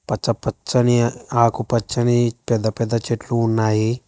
అచ్చ పచ్చని ఆకు పచ్చని పెద్ద పెద్ద చెట్లు ఉన్నాయి.